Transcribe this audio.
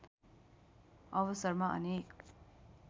अवसरमा अनेक